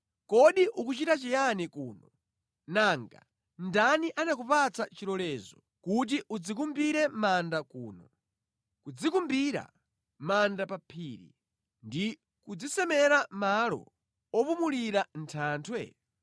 Kodi ukuchita chiyani kuno, nanga ndani anakupatsa chilolezo kuti udzikumbire manda kuno, kudzikumbira manda pa phiri ndi kudzisemera malo opumulira mʼthanthwe?